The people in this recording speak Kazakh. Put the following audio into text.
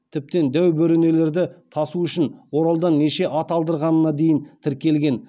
тіптен дәу бөренелерді тасу үшін оралдан неше ат алдырғанына дейін тіркелген